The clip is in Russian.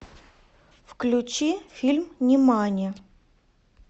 включи фильм нимани